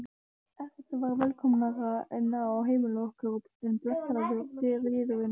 Ekkert var velkomnara inn á heimili okkar en blessaður friðurinn.